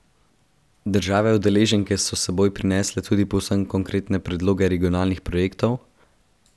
Države udeleženke so s seboj prinesle tudi povsem konkretne predloge regionalnih projektov?